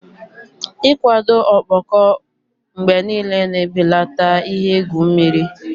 Ịkwado ọkpọkọ mgbe niile na-ebelata ihe egwu mmiri.